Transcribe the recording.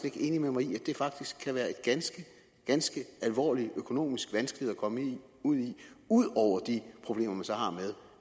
ikke enig med mig i at det faktisk kan være en ganske ganske alvorlig økonomisk vanskelighed at komme ud i ud over de problemer man så har med